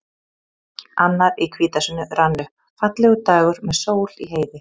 Annar í hvítasunnu rann upp, fallegur dagur með sól í heiði.